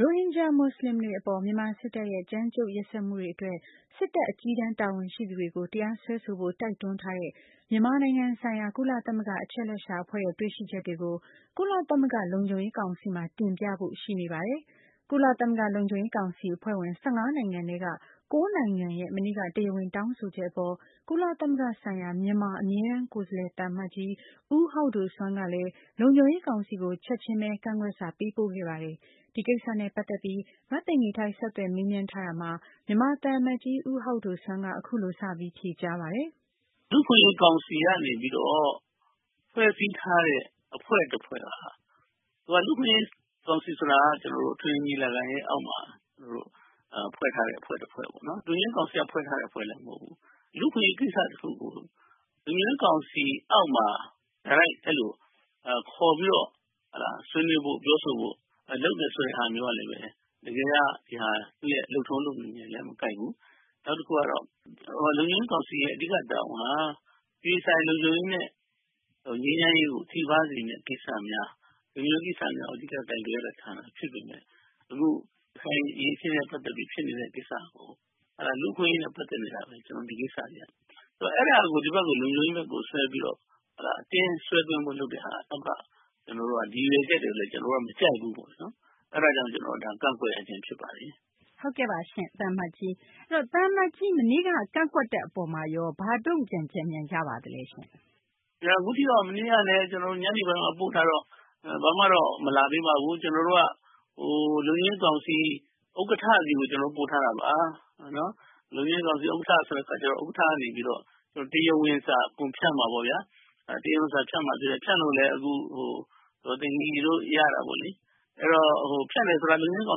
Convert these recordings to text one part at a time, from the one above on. ရိုဟင်ဂျာ မူဆလင်တွေ အပေါ် မြန်မာ စစ်တပ်ရဲ့ ကြမ်းကြုတ်ရက်စက်မှုတွေ အတွက် စစ်တပ် အကြီးတန်း တာဝန်ရှိသူတွေကို တရားစွဲဆိုဖို့ တိုက်တွန်းထားတဲ့ မြန်မာဆိုင်ရာ ကုလသမဂ္ဂ အချက်အလက်ရှာ အဖွဲ့ရဲ့ တွေ့ရှိချက်တွေကို ကုလသမဂ္ဂ လုံခြုံရေး ကောင်စီမှာ တင်ပြဖို့ ရှိနေပါတယ်။ ကုလသမဂ္ဂ လုံခြုံရေးကောင်စီ အဖွဲ့ဝင် ၁၅ နိုင်ငံထဲက ၉ နိုင်ငံရဲ့ မနေ့က တရားဝင် တောင်းဆိုချက် အပေါ် ကုလသမဂ္ဂဆိုင်ရာ မြန်မာ အမြဲတမ်းကိုယ်စားလှယ် သံအမတ်ကြီး ဦးဟောက်ဒိုဆွမ်းကလည်း လုံခြုံရေး ကောင်စီကို ချက်ချင်းဘဲ ကန့်ကွက်စာ ပေးပို့ခဲ့ပါတယ်။ ဒီကိစ္စနဲ့ ပတ်သက်ပြီး မသိင်္ဂ ီထိုက် ဆက်သွယ် မေးမြန်းတာမှာ မြန်မာသံအမတ်ကြီး ဦးဟောက်ဒိုဆွမ်းက အခုလို စပြီး ဖြေကြားပါတယ်။ လူ့အခွင့်အရေး ကောင်စီကနေပြီးတော့ ဖွဲ့စည်းထားတဲ့ အဖွဲ့တဖွဲ့က၊ လူ့အခွင့်အရေး ကောင်စီဆိုတာက အထွေထွေ ညီလာခံရဲ့အောက်မှာ ဖွဲ့ထားတဲ့ အဖွဲ့ တဖွဲ့ပေါ့နော်။ လုံခြုံရေးကောင်စီက ဖွဲ့ထားတဲ့ အဖွဲ့လည်း မဟုတ်ဘူး။ လူ့အခွင့်အရေး ကိစ္စ တခုကို လုံခြုံရေး ကောင်စီအောက်မှာ တိုက်ရိုက် အဲလို ခေါ်ပြီး ဆွေးနွေးဖို့ ပြောဆိုဖို့ လုပ်နေတယ်ဆိုတဲ့ ဟာမျိုးကလည်းပဲ တကယ်က သူ့ရဲ့ လုပ်ထုံး လုပ်နည်းနဲ့လည်း မကိုက်ဘူး။ နောက်တခုကတော့ လုံခြုံရေး ကောင်စီရဲ့ အဓိက တာဝန်က အပြည်ပြည်ဆိုင်ရာ လုံခြုံရေးနဲ့ ငြိမ်းချမ်းရေးကို ထိပါးစေမယ့် ကိစ္စများ၊ လုံခြုံရေး ကိစ္စများကို အဓိက ကိုင်တွယ်ရတဲ့ ဌာန ဖြစ်ပေမယ့် ရခိုင်အရေးအခင်းနဲ့ ပတ်သက်ပြီး ဖြစ်နေတဲ့ ကိစ္စကို လူ့အခွင့်အရေးနဲ့ ပတ်သက်နေတာဘဲ ဒီကိစ္စတွေက အဲဒါကို ဒီဘက်ကို လုံခြုံရေးဘက်ကို ဆွဲပြီးတော့ အတင်းဆွဲဖို့ လုပ်တဲ့ ကိစ္စက ဒီရည်ရွယ်ချက်ကိုလည်း ကျနော်တို့က မကြိုက်ဘူး။ အဲဒါကြောင့် ဒါကို ကန့်ကွက်ရခြင်း ဖြစ်ပါတယ်။ ဟုတ်ကဲ့ပါရှင့် သံအမတ်ကြီး။ သံအမတ်ကြီး မနေ့က ကန့်ကွက်တဲ့ အပေါ် ဘာတုံ့ပြန်ချက်များ ရပါသလဲရှင့်။ အခုထိတော့ မနေ့ကလည်း ကျနော်တို့ ညနေပိုင်းမှ ပို့ထားတော့ ဘာမှတော့ မလာသေးပါဘူး။ ကျနော်တို့က လုံခြုံရေး ကောင်စီ ဥက္ကဌ ဆီကို ကျနော်တို့က ပို့ထားတာပါ။ လုံခြုံရေးကောင်စီ ဥက္ကဌ ဆိုတဲ့ အခါကျတော့ ဥက္ကကနေပြီးတော့ တရားဝင်စာ အကုန်ဖြန့်မှာပေါ့ဗျာ။ ဖြန့်လို့လည်း အခု ဒေါ်သိင်္ဂ ီတို့ ရတာပေါ့လေ။ ဖြန့်တယ်ဆိုတာ လုံခြုံရေး ကော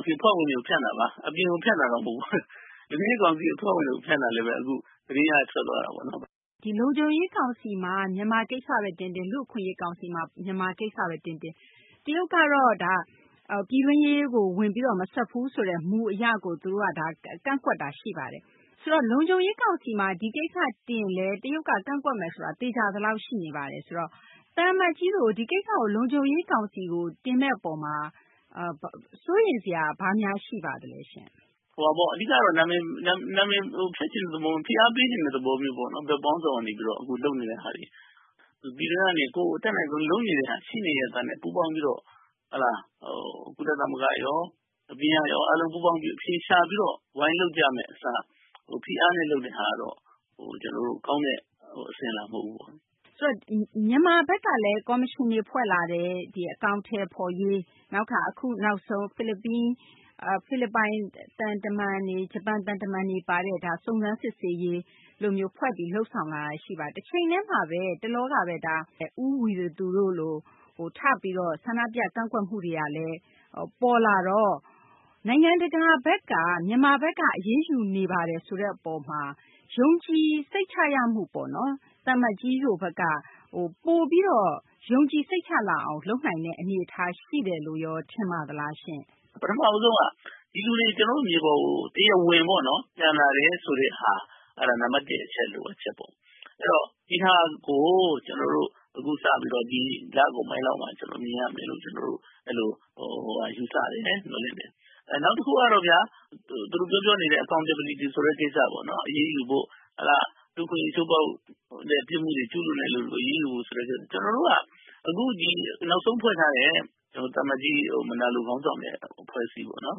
င်စီ အဖွဲ့ဝင်တွေကိုဘဲ ဖြန့်တာပါ။ အပြင်ကို ဖြန့်တာတော့ မဟုတ်ပါဘူး။ လုံခြုံရေး ကောင်စီ အဖွဲ့ဝင်ကို ဖြန့်တာလည်းဘဲ အခု သတင်းက ထွက်သွားတာပေါ့နော်။ ဒီ လုံခြုံရေး ကောင်စီမှာ မြန်မာ ကိစ္စဘဲ တင်တင်၊ လူ့အခွင့်အရေး ကောင်စီမှာ မြန်မာ ကိစ္စဘဲ တင်တင် တရုတ်ကတော့ ပြည်တွင်းရေးကို ဝင်ပြီး မစွက်ဘူးဆိုတဲ့ မူအရကို ကန့်ကွက်နေတာပါ။ ဆိုတော့ လုံခြုံရေး ကောင်စီမှာ ဒီကိစ္စ တင်ရင်လည်း တရုတ်က ကန့်ကွက်မယ်ဆိုတာ သေချာသလောက် ရှိနေပါတယ်။ ဆိုတော့ သံအမတ်ကြီးတို့ ဒီကိစ္စကို လုံခြုံရေး ကောင်စီကို တင်မယ့်အရေးမှာ စိုးရိမ်စရာ ဘာများရှိပါသလဲရှင့်။ အဓိကကတော့ နာမည်ဖျက်ချင်တဲ့ သဘော၊ ဖိအားပေးချင်တဲ့ သဘော မျိုးပေါ့နော်။ ဘက်ပေါင်းစုံက နေပြီးတော့ အခုလုပ်နေတဲ့ဟာတွေက။ ပြည်တွင်းကနေ ကိုယ်အတတ်နိုင်ဆုံး လုပ်နေတဲ့ဟာတွေ ရှိနေရဲ့သားနဲ့ ပူးပေါင်းပြီးတော့ ကုလသမဂ္ဂရော၊ အပြင်ကရော အားလုံး ပူးပေါင်းပြီးတော့ အဖြေရှာပြီး ဝိုင်းလုပ်ကြမယ့် အစား ဖိအားနဲ့ လုပ်တဲ့ဟာကတော့ ကျနော်တို့ ကောင်းတဲ့ အစဉ်အလာ မဟုတ်ဘူးပေါ့။ ဆိုတော့ မြန်မာဘက်ကလည်း ကော်မရှင်တွေ ဖွဲ့လာတယ်။ အကောင်အထည်ဖော်ရေး၊ နောက်တခါ အခုနောက်ဆုံး ဖိလစ်ပိုင် သံတမန်တွေ၊ ဂျပန် သံတမန်တွေ ပါတဲ့ စုံစမ်းစစ်ဆေးရေး အဖွဲ့လို လုပ်ဆောင်လာတာတွေ ရှိပါတယ်။ တချိန်တည်းမှာဘဲ မကြာခင်က ဦးဝီရသူတို့လို ထပြီးတော့ ဆန္ဒပြ ကန့်ကွက်မှုတွေကလည်း ပေါ်လာတော့ နိုင်ငံတကာဘက်က မြန်မာဘက်က အရေးယူနေပါတယ်ဆိုတဲ့ အပေါ်မှာ ယုံကြည်စိတ်ချရမှုပေါ့နော် သံအမတ်ကြီးတို့ဘက်က ပိုပြီးတော့ ယုံကြည်စိတ်ချလာအောင် လုပ်နိုင်တဲ့ အနေအထား ရှိတယ်လို့ရော ထင်ပါသလားရှင့်။ ပထမဦးဆုံးက ဒီလူတွေ ကျနော်တို့ မြေပေါ်ကို တရားဝင်ပေါ့နော် ပြန်လာတယ်ဆိုတဲ့ဟာ အဲဒါ နံပတ် ၁ အချက် လိုအပ်ချက်ပေါ့။ ဒီဟာကို ကျနော်တို့ အခုစပြီးတော့ ဒီလကုန်ပိုင်းလောက်မှာ မြင်ရမယ်လို့ ယူဆတယ်။ နောက်တခုကတော့ဗျာ သူတို့ ပြောပြောနေတဲ့ Accountability ဆိုတဲ့ ကိစ္စပေါ့။ အရေးယူဖို့ လူ့အခွင့်အရေး ချိုးဖောက်တဲ့ ပြစ်မှုတွေ ကျူးလွန်သူတွေကို အရေးယူဖို့ ဆိုတဲ့ ကိစ္စတွေ။ ကျနော်တို့က အခုနောက်ဆုံး ဖွဲ့ထားတဲ့ သံအမတ်ကြီး မယ်နာလို ခေါင်းဆောင်တဲ့ အဖွဲ့အစည်းပေါ့နော်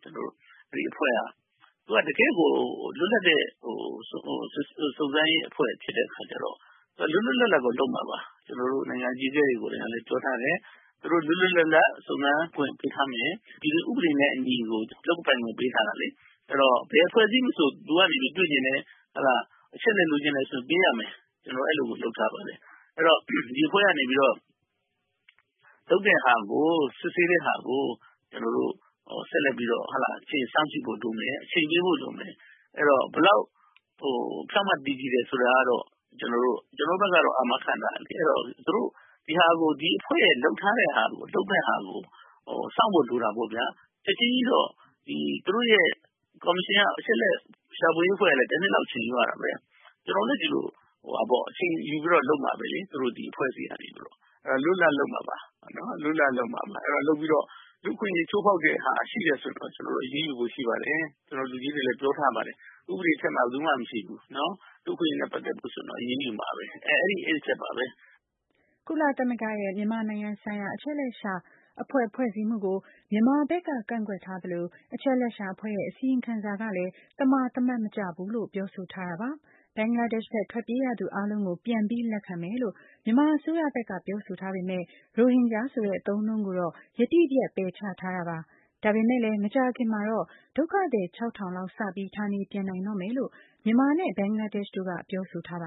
။ သူက တကယ့်ကို လွတ်လပ်တဲ့ စုံစမ်းရေး အဖွဲ့ ဖြစ်တဲ့ အခါကျတော့ သူက လွတ်လွတ်လပ်လပ်ကို လုပ်မှာပါ။ ကျနော်တို့ နိုင်ငံ အကြီးအကဲတွေ ကိုယ်တိုင်က ပြောထားတယ်။ သူတို့ လွတ်လွတ်လပ်လပ် စုံစမ်းခွင့် ပေးထားမယ်။ ဥပဒေနဲ့ အညီကို လုပ်ပိုင်ခွင့် ပေးထားတယ်လေ။ အဲဒီတော့ ဘယ်အဖွဲ့အစည်း မဆို လိုအပ်တယ် တွေ့ချင်တယ် အချက်အလက် လိုချင်တယ်ဆိုရင် ပေးရမယ်။ ကျနော်တို့ အဲလိုကို လုပ်ထားပါတယ်။ အဲဒီတော့ ဒီအဖွဲ့ကနေ လုပ်တဲ့ဟာကို စစ်ဆေးတဲ့ဟာကို ကျနော်တို့ ဆက်လက်ပြီးတော့ အချိန်စောင့်ကြည့်ဖို့ လိုမယ်။ အချိန်ပေးဖို့ လိုမယ်။ ဘယ်လောက် ဖြောင့်မတ်တည်ကြည်တယ် ဆိုတာကတော့ ကျနော်တို့ဘက်ကတော့ အာမခံထားတယ်လေ။ အဲတော့ သူတို့ ဒီအဖွဲ့ရဲ့ လုပ်ထားတဲ့ ဟာကို စောင့်ဖို့ လိုတာပေါ့ဗျာ။ ချက်ချင်းကြီးတော့ သူတို့ရဲ့ ကော်မရှင်က အချက်အလက် ရှာဖွေရေး အဖွဲ့ကလည်း တနှစ်လောက်တော့ အချိန်ယူရတာဘဲ။ ကျနော်တို့လည်း ဒီလို အချိန်ယူပြီးဘဲ လုပ်မှာဘဲလေ။ သူတို့ ဒီအဖွဲ့အစည်းကနေ လွတ်လွတ်လပ်လပ် လုပ်မှာပါ။ အဲတော့ လုပ်ပြီးတော့ လူ့အခွင့်အရေး ချိုးဖောက်တဲ့ဟာ ရှိတယ်ဆိုရင်တော့ သူတို့ အရေးယူဖို့ ရှိပါတယ်။ လူကြီးတွေလည်း ပြောထားပါတယ်။ ဥပဒေ အထက်မှာ ဘယ်သူမှ မရှိဘူး။ လူ့အခွင့်အရေးနဲ့ ပတ်သက်လို့ရှိရင် အရေးယူမှာဘဲ။ အဲဒီ အချက်ပါဘဲ။ ကုလသမဂ္ဂရဲ့ မြန်မာဆိုင်ရာ အချက်အလက်ရှာ အဖွဲ့ ဖွဲ့စည်းမှုကို မြန်မာဘက်က ကန့်ကွက်ထားသလို အချက်အလက်ရှာ အဖွဲ့ရဲ့ အစီရင်ခံစာကလည်း သမာသမတ် မကျဘူးလို့ ပြောဆိုထားတာပါ။ ဘင်္ဂလားဒေရှ့်ဘက် ထွက်ပြေးရသူ အားလုံးကို ပြန်ပြီး လက်ခံမယ်လို့ မြန်မာ အစိုးရဘက်က ပြောဆိုထားပေမယ့် ရိုဟင်ဂျာဆိုတဲ့ အသုံးအနှုန်းကိုတော့ ယတိပြတ် ပယ်ချထားတာပါ။ ဒါပေမယ့်လည်း မကြာခင်မှာတော့ ဒုက္ခသည် ၆ ထောင်လောက် စပြီး ဌာနေပြန်နိုင်တော့မယ်လို့ မြန်မာနဲ့ ဘင်္ဂလားဒေ့ရှ်တို့က ပြောဆိုထားပါ